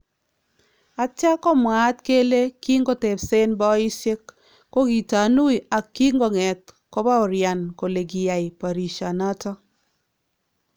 Atya komwaat kele kinkotebseen boliisyeek kokitanuu ak kinkong'eet kobaworyaan kole kiyaai barisyaa noton .